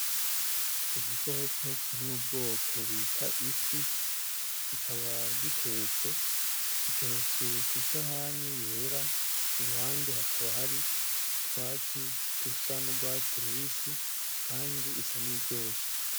Igikoko kiri mu bwoko bita ifi kikaba gitetse ,giteretswe kwisahani yera iruhande hakaba hari utwatsi dusa n'ugwatsi rubisi kandi isa n'iyiryoshe.